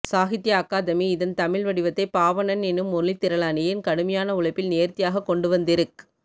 சாகித்ய அக்காதெமி இதன் தமிழ் வடிவத்தை பாவண்ணன் என்னும் மொழித்திறனாளியின் கடுமையான உழைப்பில் நேர்த்தியாகக்கொண்டுவந்திருக்